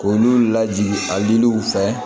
K'olu lajigin a diliw fɛ